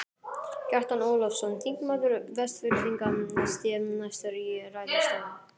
Kjartan Ólafsson, þingmaður Vestfirðinga, sté næstur í ræðustól.